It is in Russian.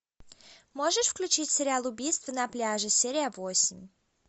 можешь включить сериал убийство на пляже серия восемь